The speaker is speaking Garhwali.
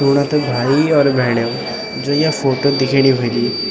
सुणा त भाई और भेणीयो जो ये फोटो दिखेणी वली --